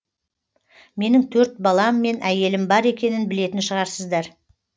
менің төрт балам мен әйелім бар екенін білетін шығарсыздар